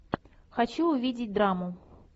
хочу увидеть драму